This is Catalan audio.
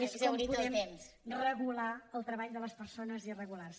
és com podem regular el treball de les persones irregulars